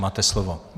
Máte slovo.